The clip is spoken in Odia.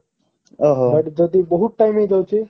but ଯଦି ବହୁତ time ହେଇଯାଉଛି